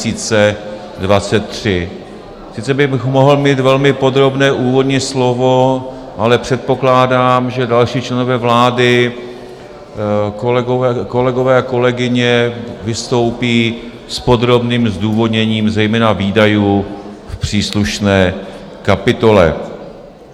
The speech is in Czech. Sice bych mohl mít velmi podrobné úvodní slovo, ale předpokládám, že další členové vlády, kolegové a kolegyně vystoupí s podrobným zdůvodněním zejména výdajů v příslušné kapitole.